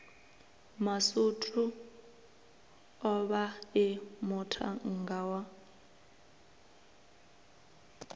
masutu o vhae muṱhannga wa